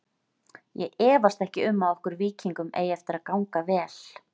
Ég efast ekki um okkur Víkingum eigi eftir að ganga vel.